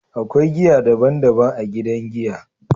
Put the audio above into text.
akwai giya daban daban a gidan giya.